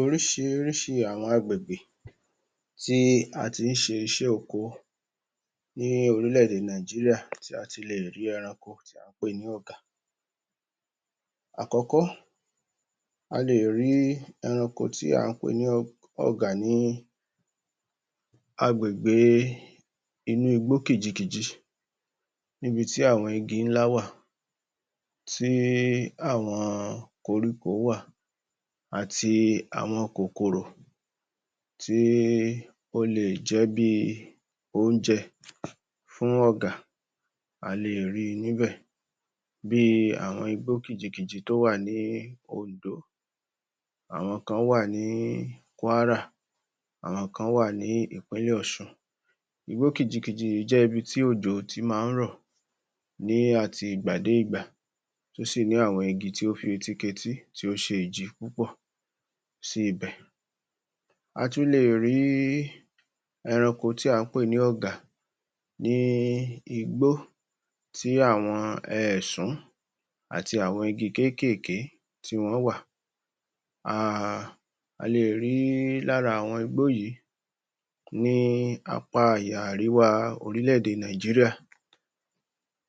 Oríṣiríṣi àwọn agbègbè tí a tí ń ṣe iṣẹ́ oko ní orílé èdè Nàìjíríà tí a tilè rí ẹranko tí à ń pè ní ọ̀gà àkọ́kọ́ a lè rí ẹranko tí à ń pè ní ọ̀gà ní agbègbè inú igbó kìjikìjì níbi tí àwọn igi ńlá wà tí àwọn koríko wà àti àwọn kòkòrò tí ó lè jẹ́ bí oúnjẹ fún ọ̀gà a lè rí níbẹ̀ bí àwọn igbó kìjikìjì tí ó wà ní Ondo àwọn nǹkan wà ní Kwara àwọn nǹkan wà ní ìpínlè Òṣun Igbó kìjikìjì yìí jẹ́ ibi tí òjò ti máa ń rọ̀ ní àtìgbàdégbà tí ó sì ní àwọn igi tí ó fi etíketí tí ó ṣe ìjì púpọ̀ sí ibẹ̀ a tún lè rí ẹranko tí à ń pè ní ọ̀gà ní igbó tí àwọn èsún àti àwọn igi kékeré tí wọ́n wà a a lè ri lára àwọn igbó yìí ní apá àríwá orílè-èdè Naijiria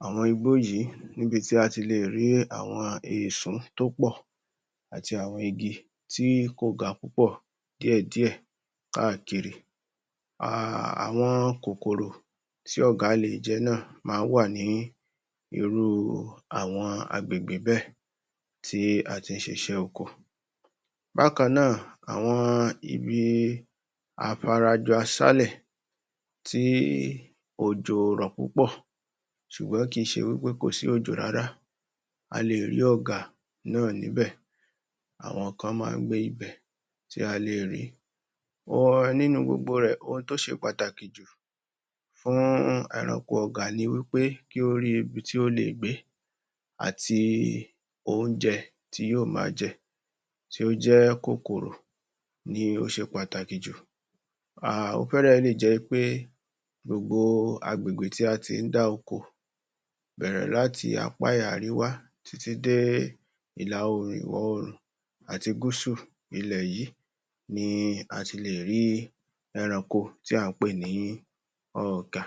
àwọn igbó yìí níbi tí a tilè rí àwọn èsún tí ó pọ̀ àti àwọn igi tí kò ga púpọ̀ díẹ̀ díè káàkiri àwọn kòkòrò tí ọ̀gà lé jẹ̀ náà máa ń wà ní irú àwọn agbègbè bẹ́ẹ̀ tí a ti ń ṣiṣẹ́ ọkọ Bákan náà àwọn ibi afara jọ asálẹ̀ tí òjò ò rò púpọ̀ ṣùgbọ́n kì í ṣe wí pé kò sí òjò rárá a lè rí ọ̀gà náà níbẹ̀ àwọn nǹkan máa ń gbé níbẹ̀ tí à lè rìí nínú gbogbo rẹ̀, ohun tí ó ṣe pàtàkì jù fún ẹranko ọ̀gà ni wí pé kí ó rí ibi tí ó lè gbé àti oúnjẹ tí yóò ma jẹ tí ó jẹ́ kòkòrò ni ó ṣe pàtàkì jù Ó fẹ́ẹ̀rẹ̀ lè jẹ́ pé gbogbo agbègbè tí a tí ń dá oko bẹ́ẹ̀rẹ̀ láti apá àríwá títí dé ìla oòrùn ìwọ oòrùn àti gúúsù ilẹ̀ yìí ni a ti lẹ̀ rí eranko tí à ń pè ní ọ̀gà